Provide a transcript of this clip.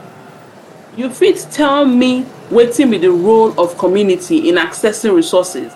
fit tell me wetin be di role of community in accessing resources?